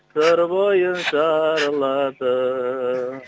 сыр бойын шарладым